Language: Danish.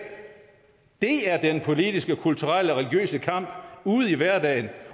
det er den politiske kulturelle og religiøse kamp ude i hverdagen